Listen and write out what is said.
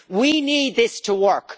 We need this to work!